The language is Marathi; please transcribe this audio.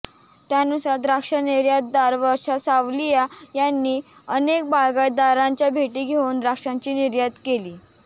त्यानुसार द्राक्ष निर्यातदार वर्षा सावलिया यांनी अनेक बागायतदारांच्या भेटी घेऊन द्राक्षांची निर्यात केली